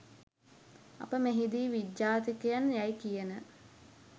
අප මෙහිදී විජාතිකයන් යැයි කියන